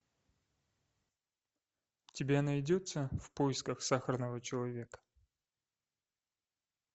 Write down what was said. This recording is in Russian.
у тебя найдется в поисках сахарного человека